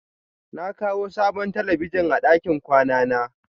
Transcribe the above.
Na kawo sabon talabijin a ɗakin kwana na.